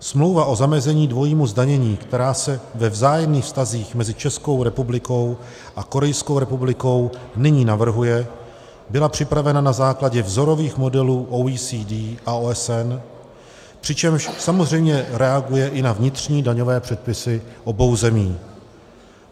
Smlouva o zamezení dvojímu zdanění, která se ve vzájemných vztazích mezi Českou republikou a Korejskou republikou nyní navrhuje, byla připravena na základě vzorových modelů OECD a OSN, přičemž samozřejmě reaguje i na vnitřní daňové předpisy obou zemí.